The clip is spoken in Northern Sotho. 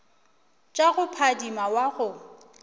tša go phadima wa go